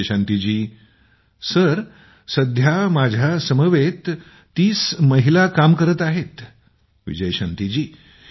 विजयशांती जीः माझ्या समवेत ३० महिलांसोबत अजूनही काम करत आहोत